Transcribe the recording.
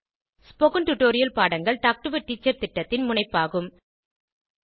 spoken tutorial பாடங்கள் talk to a teacher திட்டத்தின் முனைப்பாகும்